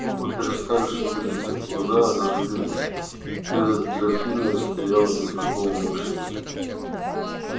губы перестали шевелиться глаза оживились перед графинею стоял незнакомый мужчина